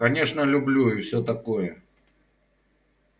конечно люблю и все такое